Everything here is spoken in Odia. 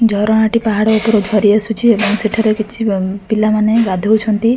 ଝରଣାଟି ପାହାଡ଼ ଉପରୁ ଝରି ଆସୁଛି ଏବଂ ସେଠାରେ କିଛି ଅ ପିଲାମାନେ ଗଧୋଉଛନ୍ତି।